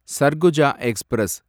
Surguja express